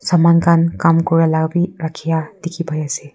saman khan kam kura la wi rakhia dikhi pai ase.